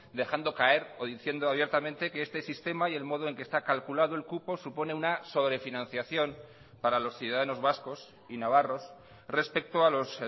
dejando caer o diciendo abiertamente que este sistema y el modo en que está calculado el cupo supone una sobrefinanciación para los ciudadanos vascos y navarros respecto a los